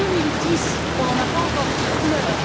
2010. On n'en a pas encore vu la couleur.